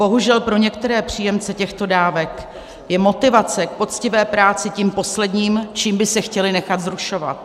Bohužel pro některé příjemce těchto dávek je motivace k poctivé práci tím posledním, čím by se chtěli nechat vzrušovat.